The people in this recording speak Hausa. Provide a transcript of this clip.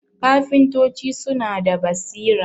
kafintoci suna da basira